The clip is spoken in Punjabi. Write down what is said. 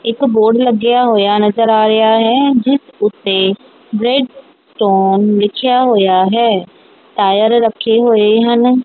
ਇੱਕ ਬੋਰਡ ਲੱਗਿਆ ਹੋਇਆ ਨਜ਼ਰ ਆ ਰਿਹਾ ਹੈ ਜਿਸ ਉੱਤੇ ਗ੍ਰੈਡ ਸਟੋਨ ਲਿਖਿਆ ਹੋਇਆ ਹੈ ਟਾਇਰ ਰੱਖੇ ਹੋਏ ਹਨ।